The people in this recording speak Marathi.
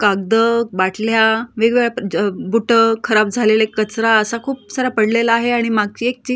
कागदं बाटल्या वेगवेगळ्या याब ज बूट्स खराब झालेले खूप कचरा सारा पडलेला आहे आणि मागची एक चिक--